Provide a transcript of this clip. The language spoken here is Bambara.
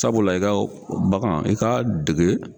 Sabula i ka bagan i k'a dege